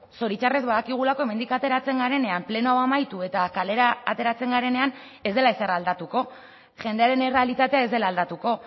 zoritxarrez badakigulako hemendik ateratzen garenean pleno hau amaitu eta kalera ateratzen garenean ez dela ezer aldatuko jendearen errealitatea ez dela aldatuko